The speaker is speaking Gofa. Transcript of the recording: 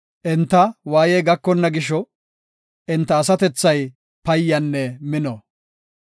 Enta waayey gakonna gisho, enta asatethay payyanne mino.